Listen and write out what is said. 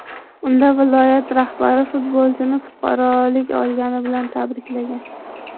Unda viloyat rahbari futbolchini fuqarolik olgani bilan tabriklagan .